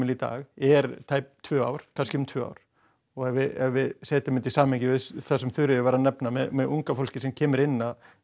í dag er tæp tvö ár kannski rúm tvö ár og ef við setjum þetta í samhengi við það sem Þuríður var að nefna með unga fólkið sem kemur inn